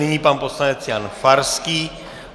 Nyní pan poslanec Jan Farský.